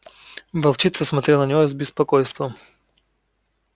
волчица смотрела на него с беспокойством